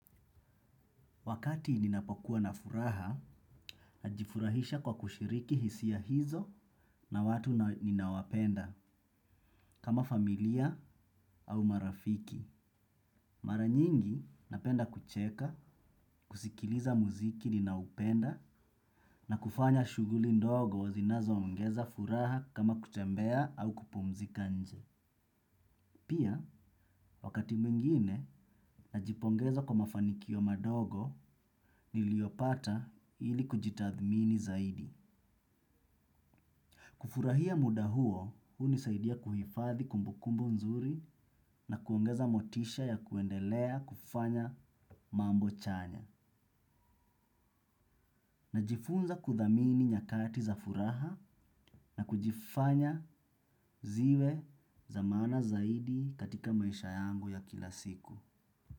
Wakati ninapokuwa na furaha, najifurahisha kwa kushiriki hisia hizo na watu ninawapenda, kama familia au marafiki. Maranyingi, napenda kucheka, kusikiliza muziki ninaupenda, na kufanya shuguli ndogo wazinazo ongeza furaha kama kutembea au kupumzika nje. Pia, wakati mwingine, najipongeza kwa mafanikio madogo, niliopata iili kujitathmini zaidi. Kufurahia muda huo hunisaidia kuhifadhi kumbukumbu nzuri na kuongeza motisha ya kuendelea kufanya mambo chanya. Najifunza kuthamini nyakati za furaha na kujifanya ziwe za maana zaidi katika maisha yangu ya kila siku.